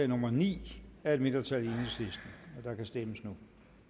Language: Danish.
nummer ni af et mindretal og der kan stemmes nu